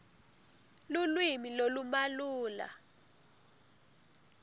lulwimi lolumalula